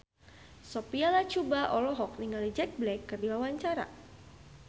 Sophia Latjuba olohok ningali Jack Black keur diwawancara